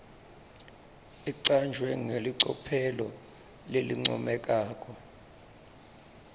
icanjwe ngelicophelo lelincomekako